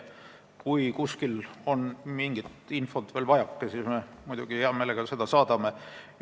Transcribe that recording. Kui kuskil on mingit infot veel vajaka, siis me muidugi saadame selle hea meelega.